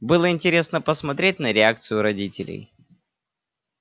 было интересно посмотреть на реакцию родителей